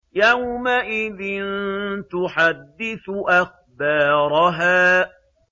يَوْمَئِذٍ تُحَدِّثُ أَخْبَارَهَا